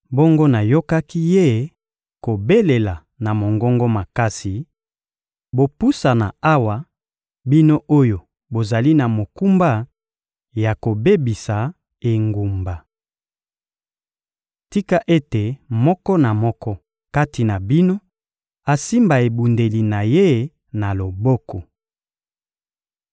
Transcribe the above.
Bongo nayokaki ye kobelela na mongongo makasi: «Bopusana awa, bino oyo bozali na mokumba ya kobebisa engumba! Tika ete moko na moko kati na bino asimba ebundeli na ye na loboko!»